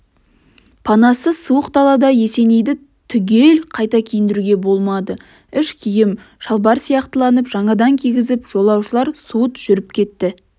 панасыз суық далада есенейді түгел қайта киіндіруге болмады іш киім шалбар сияқтыланып жаңадан кигізіп жолаушылар суыт жүріп кетті